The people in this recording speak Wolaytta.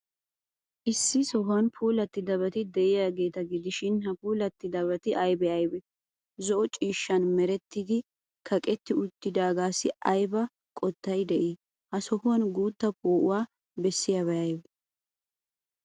Issi sohuwan puulattidabati de'iyaageeta gidishin, ha puulabati aybee aybee? Zo'o ciishshan merettidi kaqetti uttidaagaassi ayba qottay de'ii? He sohuwan guutta poo'uwa bessiyabati aybee?